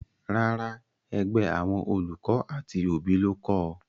Rárá, ẹgbẹ́ àwọn olùkọ́ àti òbí ló kọ ọ